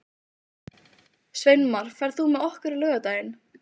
Sveinmar, ferð þú með okkur á laugardaginn?